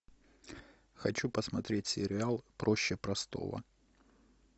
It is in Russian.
хочу посмотреть сериал проще простого